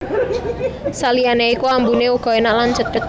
Saliyane iku ambune uga enak lan sedhep